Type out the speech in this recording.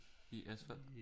I asfalt